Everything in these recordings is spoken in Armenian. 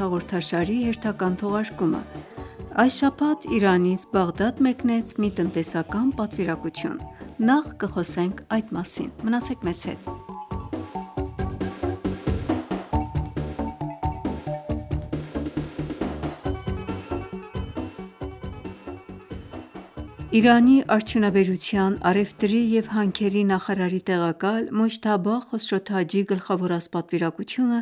հաղորդաշարի հերթական թողարկումը: Այս շաբաթ Իրանից Բաղդադ մեկնեց մի տնտեսական պատվիրակություն: Նախ` այդ մասին: Իրանի Արդյունաբերության, առևտրի և հանքերի նախարարի տեղակալ` Մոջթաբա Խոսրոթաջի գլխավորած պատվիրակությունը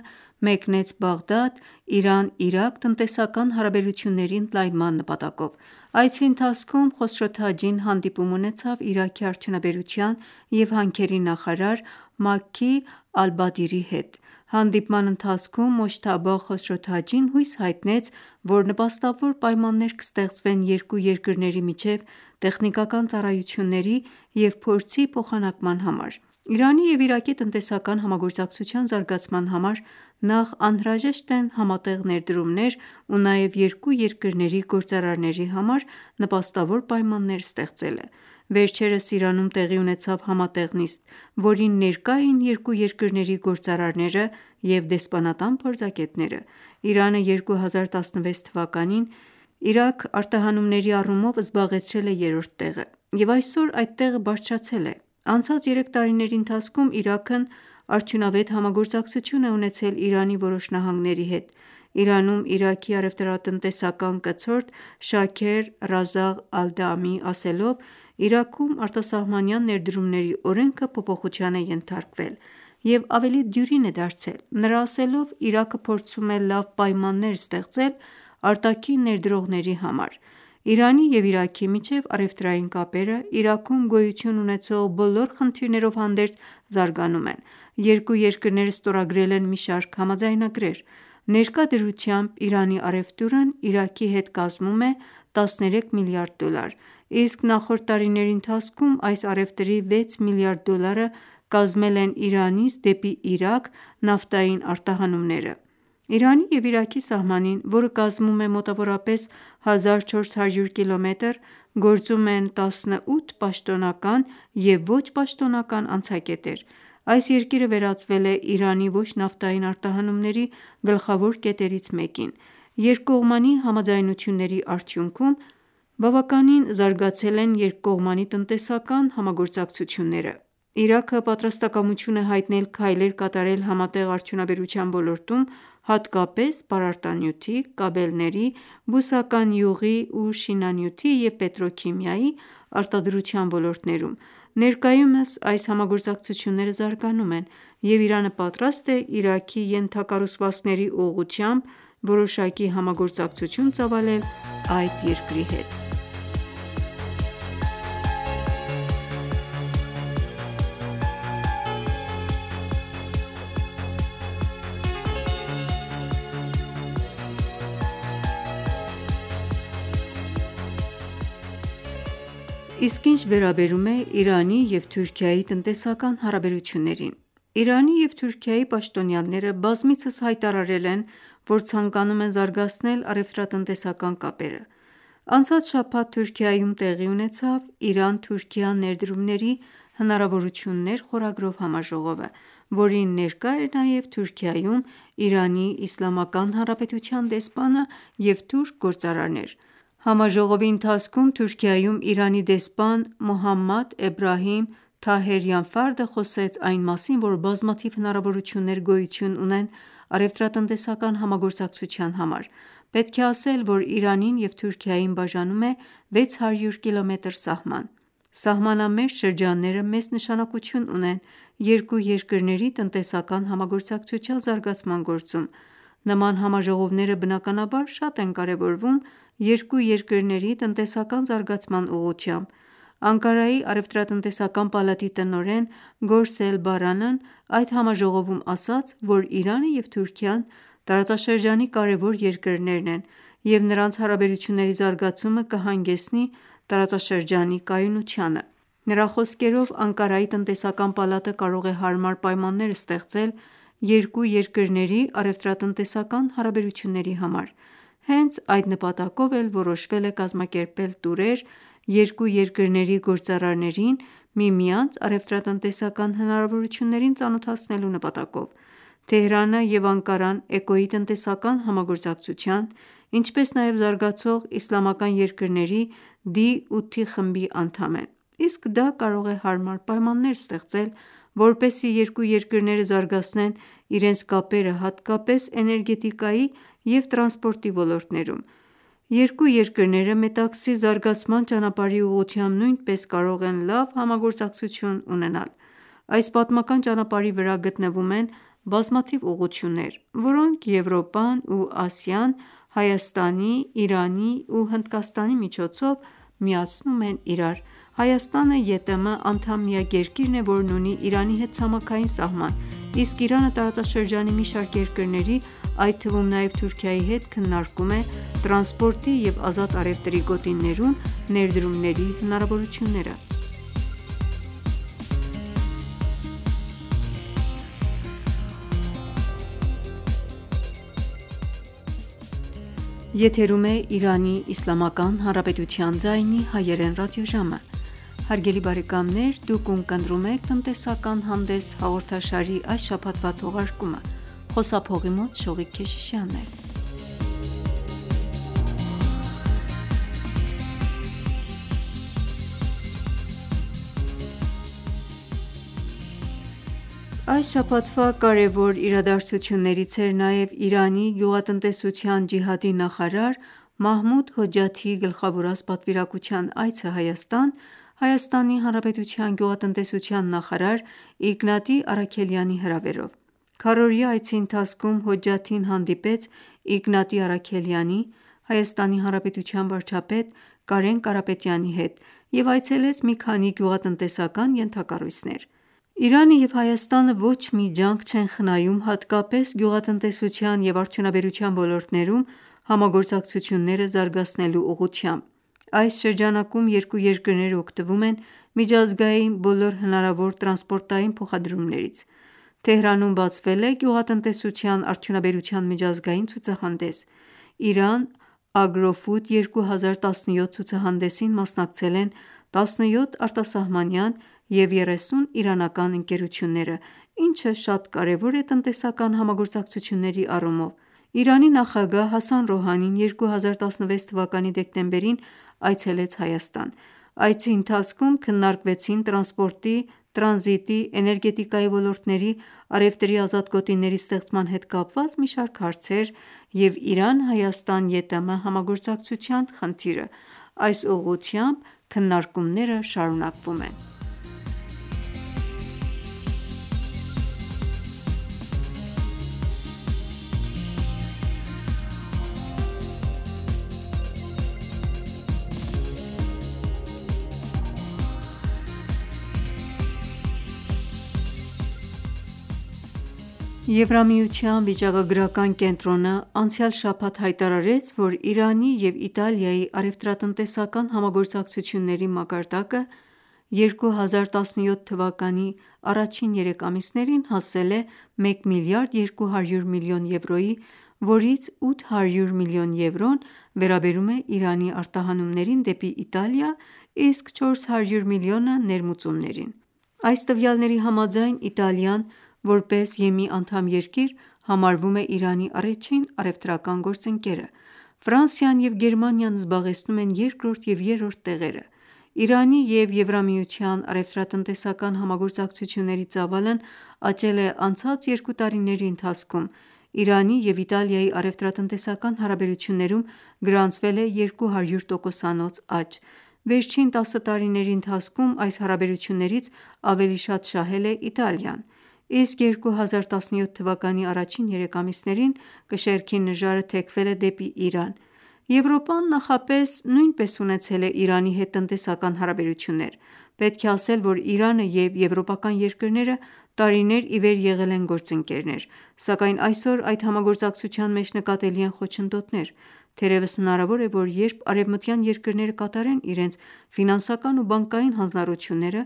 մեկնեց Բաղդադ` Իրան-Իրաք տնտեսական հարաբերությունների ընդլայնման նպատակով: Այցի ընթացքում Խոսրոթաջին հանդիպում ունեցավ Իրաքի Արդյունաբերության և հանքերի նախարար Մաքի Ալբադիրի հետ: Հանդիպման ընթացքում Մոջթաբա Խոսրոթաջին հույս հայտնեց, որ նպաստավոր պայմաններ կստեղծվեն երկու երկրների միջև տեխնիկական ծառայությունների և փորձի փոխանակման համար: Իրանի և Իրաքի տնտեսական համագործակցության զարգացման համար նախ անհրաժեշտ են համատեղ ներդրումներ ու նաև երկու երկրների գործարարների համար նպաստավոր պայմաններ ստեղծելը: Վերջերս Իրանում տեղի ունեցավ համատեղ նիստ, որին ներկա էին երկու երկրների գործարարները և դեսպանատան փորձագետները: Իրանը 2016թ. Իրաք արտահանումների առումով զբաղեցրել է երրորդ տեղը և այսօր այդ տեղը բարձրացել է: Անցած երեք տարիների ընթացքում Իրաքն արդյունավետ համագործակցություն է ունեցել Իրանի որոշ նահանգների հետ: Իրանում Իրաքի առևտրատնտեսական կցորդ` Շաքեր Ռազաղ Ալդամիի ասելով. "Իրաքում արտասահմանյան ներդրումների օրենքը փոփոխության է ենթարկվել և ավելի դյուրին է դարձել": Նրա ասելով, Իրաքը փորձում է լավ պայմաններ ստեղծել արտաքին ներդրողների համար: Իրանի և Իրաքի միջև առևտրային կապերը, Իրաքում գոյություն ունեցող բոլոր խնդիրներով հանդերձ, զարգանում են: Երկու երկրները ստորագրել են մի շարք համաձայնագրեր: Ներկա դրությամբ, Իրանի առևտուրն Իրաքի հետ կազմում է 13 միլիարդ դոլար: Իսկ նախորդ տարիների ընթացքում այս առևտրի 6 միլիարդ դոլարը կազմել են Իրանից դեպի Իրաք նավթային արտահանումները: Իրանի և Իրաքի սահմանին, որը կազմում է մոտավորապես 1400 կմ, գործում են 18 պաշտոնական և ոչ պաշտոնական անցակետեր: Այս երկիրը վերածվել է Իրանի ոչ նավթային արտահանումների գլխավոր կետերից մեկին: Երկկողմանի համաձայնությունների արդյունքում, երկկողմանի տնտեսական համագործակցությունները բավականին զարգացել են: Իրաքը պատրաստակամություն է հայտնել քայլեր կատարել համատեղ արդյունաբերության ոլորտում, հատկապես`պարարտանյութի, կաբելների, բուսական յուղի ու շինանյութի և պետրոքիմիայի արտադրության ոլորտներում: Ներկայումս այս համագործակցությունները զարգանում են և Իրանը պատրաստ է Իրաքի ենթակառուցվածքների ուղղությամբ որոշակի համագործակցություն ծավալել այդ երկրի հետ: Իսկ այժմ խոսենք Իրանի և Թուրքիայի տնտեսական հարաբերությունների մասին: Իրանի և Թուրքիայի պաշտոնյաները բազմիցս հայտարարել են, որ ցանկանում են զարգացնել առևտրատնտեսական կապերը: Անցած շաբաթ Թուրքիայում տեղի ունեցավ "Իրան-Թուրքիա ներդրումների հնարավորություններ" համաժողովը, որին ներկա էր նաև Թուրքիայում ԻԻՀ դեսպանը և թուրք գործարարներ: Համաժողովի ընթացքում Թուրքիայում Իրանի դեսպան Մոհամմադ Էբրահիմ Թահերյան Ֆարդը խոսեց այն մասին, որ բազմաթիվ հնարավորություններ գոյություն ունեն` առևտրատնտեսական համագործակցության համար: Պետք է ասել, որ Իրանին և Թուրքիային բաժանում է 600 կմ սահման: Սահմանամերձ շրջանները մեծ նշանակություն ունեն երկու երկրների տնտեսական համագործակցության զարգացման գործում: Նման համաժողովները բնականաբար շատ են կարևորվում երկու երկրների տնտեսական զարգացման ուղղությամբ: Անկարայի առևտրատնտեսական պալատի տնօրեն Գորսել Բարանն այդ համաժողովում ասաց, որ Իրանը և Թուրքիան տարածաշրջանի կարևոր երկրներն են և նրանց հարաբերությունների զարգացումը կհանգեցնի տարածաշրջանի կայունությանը: Նրա խոսքերով, Անկարայի տնտեսական պալատը կարող է հարմար պայմաններ ստեղծել` երկու երկրների առևտրատնտեսական հարաբերությունների համար: Հենց այդ նպատակով էլ որոշվել է կազմակերպել տուրեր` երկու երկրների գործարարներին միմյանց առևտրատնտեսական հնարավորություններին ծանոթացնելու նպատակով: Թեհրանը և Անկարան ԷԿՕ-ի տնտեսական համագործակցության, ինչպես նաև Զարգացող իսլամական երկրների` (D8) խմբի անդամ են: Իսկ դա կարող է հարմար պայմաններ ստեղծել, որպեսզի երկու երկրները զարգացնեն իրենց կապերը հատկապես էներգետիկայի և տրանսպորտի ոլորտներում: Երկու երկրները Մետաքսի զարգացման ճանապարհի ուղղությամբ նույնպես կարող են լավ համագործակցություն ունենալ: Այս պատմական ճանապարհի վրա գտնվում են բազմաթիվ ուղղություններ, որոնք Եվրոպան ու Ասիան Հայաստանի, Իրանի ու Հնդկաստանի միջոցով միացնում են իրար: Հայաստանը ԵՏՄ անդամ միակ երկիրն է, որն ունի Իրանի հետ ցամաքային սահման: Իսկ Իրանը տարածաշրջանի մի շարք երկրների, այդ թվում նաև Թուրքիայի հետ քննարկում է տրանսպորտի և ազատ առևտրի գոտիներում ներդրումների հնարավորությունները: Այս շաբաթվա կարևոր իրադարձություններից էր նաև Իրանի գյուղատնտեսության ջիհադի նախարար Մահմուդ Հոջջաթիի գլխավորած պատվիրակության այցը Հայաստան` ՀՀ գյուղատնտեսության նախարար Իգնատի Առաքելյանի հրավերով: Քառօրյա այցի ընթացքում Հոջջաթին հանդիպեց Իգնատի Առաքելյանի, ՀՀ վարչապետ Կարեն Կարապետյանի հետ և այցելեց մի քանի գյուղատնտեսական ենթակառույցներ: Իրանը և Հայաստանը ոչ մի ջանք չեն խնայում հատկապես գյուղատնտեսության և արդյունաբերության ոլորտներում համագործակցությունները զարգացնելու ուղղությամբ: Այս ուղղությամբ երկու երկրները օգտվում են միջազգային բոլոր հնարավոր տրանսպորտային փոխադրումներից: Թեհրանում բացվել է Գյուղատնտեսության արդյունաբերության միջազգային ցուցահանդես: "Իրան ագրոֆուդ 2017" ցուցահանադեսին մասնակցել են 17 արտասահմանյան և 30 իրանական ընկերությունները, ինչը շատ կարևոր է տնտեսական համագործակցությունների առումով: ԻԻՀ նախագահ Հասան Ռոհանին 2016թ. դեկտեմբերին այցելեց Հայաստան: Այցի ընթացքում քննարկվեցին տրանսպորտի, տրանզիտի, էներգետիկայի ոլորտների, առևտրի ազատ գոտիների ստեղծման հետ կապված մի շարք հարցեր և Իրան-Հայաստան-ԵՏՄ համագործակցության խնդիրը: Այս ուղղությամբ քննարկումները շարունակվում են: Եվրամիության վիճակագրական կենտրոնն անցյալ շաբաթ հայտարարեց, որ Իրանի և Իտալիայի առևտրատնտեսական համագործակցությունների մակարդակը 2017թ. առաջին երեք ամիսներին հասել է 1 միլիարդ 200 միլիոն եվրոյի, որից 800 միլիոն եվրոն վերաբերում է Իրանի արտահանումներին դեպի Իտալիա, իսկ 400 միլիոնը` ներմուծումներին: Այս տվյալների համաձայն` Իտալիան, որպես ԵՄ անդամ երկիր, համարվում է Իրանի առաջին առևտրական գործընկերը: Ֆրանսիան և Գերմանիան զբաղեցնում են երկրորդ և երրորդ տեղերը: Իրանի և ԵՄ առևտրատնտեսական համագործակցությունների ծավալն աճել է անցած երկու տարիների ընթացքում: Իրանի և Իտալիայի առևտրատնտեսական հարաբերություններում գրանցվել է 200 տոկոսանոց աճ: Վերջին տասը տարիների ընթացքում այս հարաբերություններից ավելի շատ շահել է Իտալիան: Իսկ 2017թ. առաջին երեք ամիսներին կշեռքի նժարը թեքվել է դեպի Իրան: Եվրոպան նախապես նույնպես ունեցել է Իրանի հետ տնտեսական հարաբերություններ: Պետք է ասել, որ Իրանը և եվրոպական երկրները տարիներ ի վեր եղել են գործընկերներ: Սակայն այսօր այդ համագործակցության մեջ նկատելի են խոչընդոտներ: Թերևս հնարավոր է, որ երբ արևմտյան երկրները կատարեն իրենց ֆինանսական ու բանկային հանձնառությունները,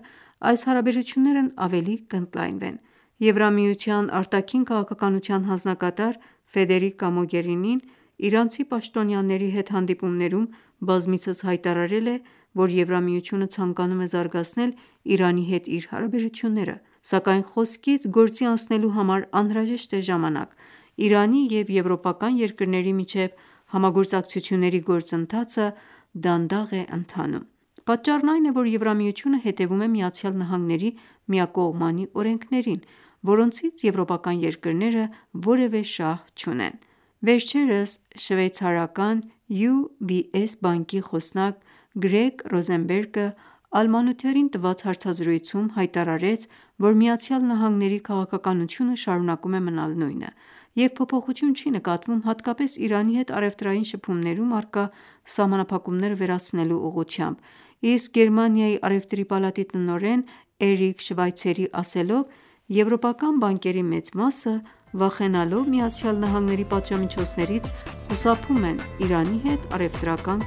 այս հարաբերություններն ավելի կընդլայնվեն: ԵՄ Արտաքին քաղաքականության հանձնակատար Ֆեդերիկա Մոգերինին իրանցի պաշտոնյաների հետ հանդիպումներում բազմիցս հայտարարել է, որ ԵՄ-ն ցանկանում է զարգացնել Իրանի հետ իր հարաբերությունները: Սակայն խոսքից գործի անցնելու համար անհրաժեշտ է ժամանակ: Իրանի և եվրոպական երկրների միջև համագործակցությունների գործընթացը դանդաղ է ընթանում: Պատճառն այն է, որ ԵՄ-ն հետևում է ԱՄՆ-ի միակողմանի օրենքներին, որոնցից եվրոպական երկրները որևէ շահ չունեն: Վերջերս շվեյցարական UVS բանկի խոսնակ Գրեգ Ռոզենբերգը "Al-Monitor"-ին տված հարցազրույցում հայտարարեց, որ Միացյալ Նահանգների քաղաքականությունը շարունակում է մնալ նույնը և փոփոխություն չի նկատվում հատկապես Իրանի հետ առևտրային շփումներում առկա սահմանափակումները վերացնելու ուղղությամբ: Իսկ Գերմանիայի առևտրի պալատի տնօրեն` Էրիկ Շվայցերի ասելով, եվրոպական բանկերի մեծ մասը, վախենալով ԱՄՆ-ի պատժամիջոցներից, խուսափում են Իրանի հետ առևտրական